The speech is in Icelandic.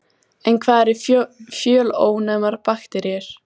En hvað eru fjölónæmar bakteríur?